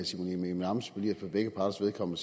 simon emil ammitzbøll i at man for begge parters vedkommende